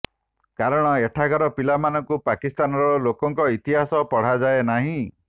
କାରଣ ଏଠାକାର ପିଲାମାନଙ୍କୁ ପାକିସ୍ତାନର ଲୋକଙ୍କ ଇତିହାସ ପଢ଼ାଯାଏ ନାହିଁ